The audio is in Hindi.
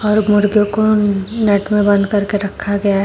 और मुर्गे को नेट में बांध करके रखा गया है।